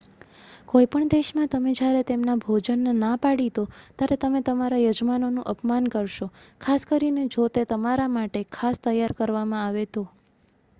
કોઈ પણ દેશમાં તમે જ્યારે તેમના ભોજનને ના પાડી દો ત્યારે તમે તમારા યજમાનોનું અપમાન કરશો ખાસ કરીને જો તે તમારા માટે ખાસ તૈયાર કરવામાં આવે તો